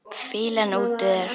Fýlan út úr þér!